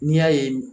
N'i y'a ye